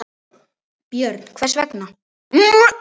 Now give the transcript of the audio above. Björn: Hvers vegna?